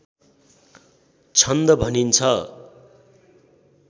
छन्द भनिन्छ